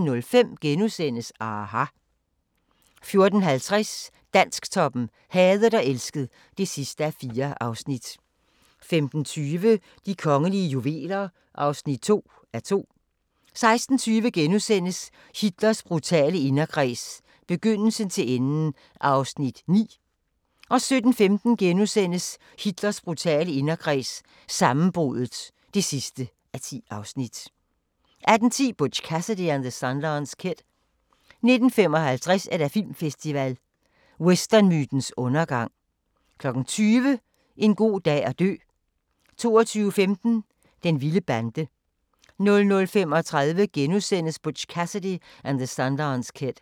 14:05: aHA! * 14:50: Dansktoppen: Hadet og elsket (4:4) 15:20: De kongelige juveler (2:2) 16:20: Hitlers brutale inderkreds – begyndelsen til enden (9:10)* 17:15: Hitler brutale inderkreds – sammenbruddet (10:10)* 18:10: Butch Cassidy and the Sundance Kid 19:55: Filmfestival: Westernmytens undergang 20:00: En god dag at dø 22:15: Den vilde bande 00:35: Butch Cassidy and the Sundance Kid *